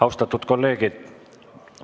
Austatud kolleegid!